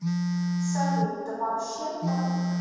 салют да вообще то